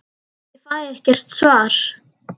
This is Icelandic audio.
Ég fæ ekkert svar.